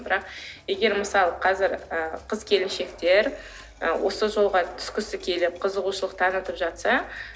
бірақ егер мысалы қазір ы қыз келіншектер ы осы жолға түскісі келіп қызығушылық танытып жатса